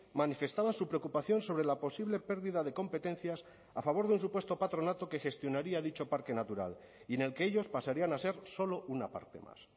manifestaban su preocupación sobre la posible pérdida de competencias a favor de un supuesto patronato que gestionaría dicho parque natural y en el que ellos pasarían a ser solo una parte más